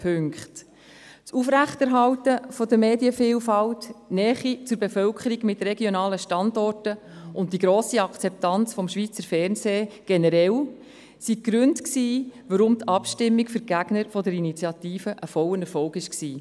Das Aufrechterhalten der Medienvielfalt, die Nähe zur Bevölkerung mit regionalen Standorten und die grosse Akzeptanz des Schweizer Fernsehens generell waren die Gründe, warum die Abstimmung für die Gegner der Initiative ein voller Erfolg war.